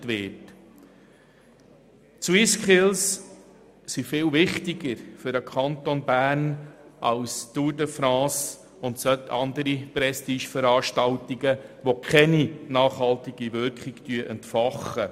Die SwissSkills sind für den Kanton Bern viel wichtiger als die Tour de France und andere Prestigeveranstaltungen, die keine nachhaltige Wirkung entfachen.